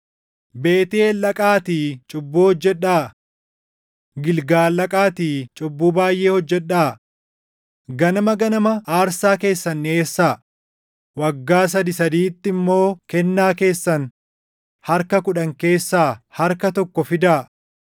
“Beetʼeel dhaqaatii cubbuu hojjedhaa; Gilgaal dhaqaatii cubbuu baayʼee hojjedhaa. Ganama ganama aarsaa keessan dhiʼeessaa; waggaa sadii sadiitti immoo kennaa keessan harka kudhan keessaa // harka tokko fidaa.